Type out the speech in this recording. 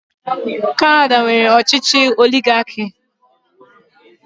Kanada nwere ọchịchị oligaki.